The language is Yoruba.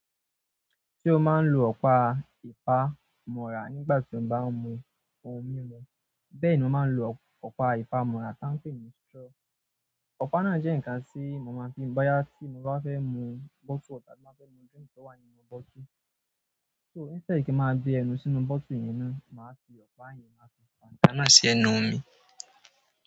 Sé ó máa ń lo ọ̀pá ìpa mọ́ra nígbà tí ó bá ń mu ohun mímu. Bẹ́ẹ̀ni ó máa ń lo ọ̀pá ìpa mọ́ra tí wọ́n ń pè ní straw. Ọ̀pá náà jẹ́ nǹkan tí mo máa ń fi bo yá tí mo bá fẹ́ mu bottle water, tí mo bá fẹ́ mu drink tó wà nínú bottle. So, instead kí ma gbé ẹnu sínú bottle yẹn náà, mà fi ọ̀pá yẹn má fi fa, nkan náà sí ẹnu mi.